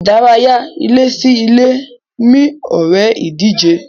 Ìdárayá ilé sí ilé mí ore ìdíje.